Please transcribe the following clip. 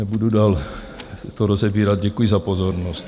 Nebudu to dál rozebírat, děkuji za pozornost.